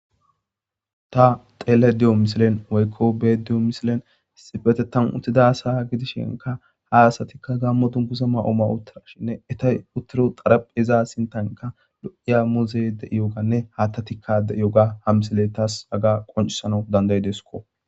Ta tellayide diyo missilen woyikko be'ayidde diyo missilen issippetetan uttida asa giddishinka ha asatika gammo dungguza ma'o ma'i uttidashin eti uttido tarapheza sinttanka lo'iya muzzeyi de'iyoganne hatatika de'iyoga ha missiley tasi qonccisanaw danda'idesko.